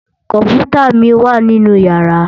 Kòmpútá mi wá ninú yàrá